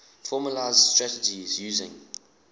formalised strategies using